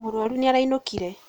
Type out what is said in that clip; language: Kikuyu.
Mũrũaru nĩ arainũkire.